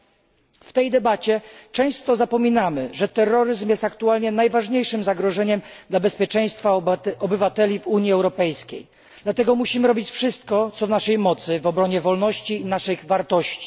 Podczas debaty często zapominamy, że terroryzm jest aktualnie największym zagrożeniem dla bezpieczeństwa obywateli w Unii Europejskiej i dlatego musimy robić wszystko, co w naszej mocy, w obronie wolności i naszych wartości.